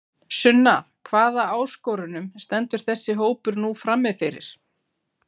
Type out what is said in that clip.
Sunna hvaða áskorunum stendur þessi hópur nú frammi fyrir?